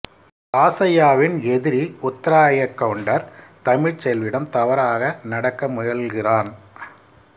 ராசய்யாவின் எதிரி உந்த்ராய கவுண்டர் தமிழ்செல்வியிடம் தவறாக நடக்க முயல்கிறான்